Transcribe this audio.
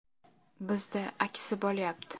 Bizda aksi bo‘lyapti.